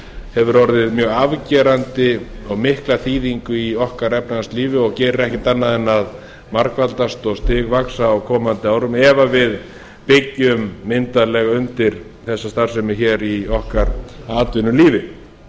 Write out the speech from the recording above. hefur orðið mjög afgerandi og mikla þýðingu í okkar efnahagslífi og gerir ekkert annað en að margfaldast og stigvaxa á komandi árum ef við byggjum myndarlega undir þessa starfsemi hér í okkar atvinnulífi